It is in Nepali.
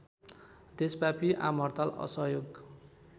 देशव्यापी आमहड्ताल असहयोग